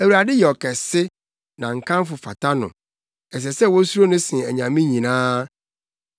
Awurade yɛ ɔkɛse na nkamfo fata no; ɛsɛ sɛ wosuro no sen anyame nyinaa.